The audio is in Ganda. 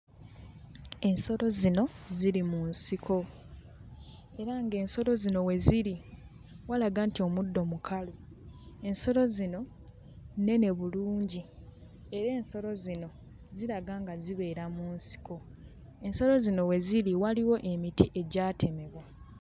Ensolo zino ziri mu nsiko era ng'ensolo zino we ziri walaga nti omuddo mukalu ensolo zino nnene bulungi era ensolo zino ziraga nga zibeera mu nsiko ensolo zino we ziri waliwo emiti egyatemebwa.